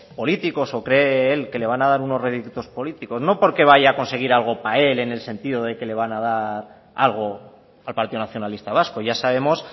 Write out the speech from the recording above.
políticos o cree él que le van a dar unos réditos políticos no porque vaya a conseguir algo para él en el sentido de que le van a dar algo al partido nacionalista vasco ya sabemos